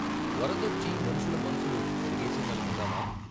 వరదొచ్చి మనుషుల మనసులు కడిగేసిందనుకుందామా?